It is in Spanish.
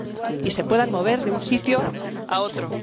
y se puedan mover de un sitio a otro.